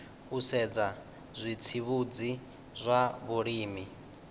u sedza zwitsivhudzi zwa vhulimi